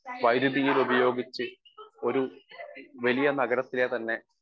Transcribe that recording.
speaker 1 വൈദ്യുതിയിലുപയോഗിച്ച് ഒരു വലിയ നഗരത്തിലെ തന്നെ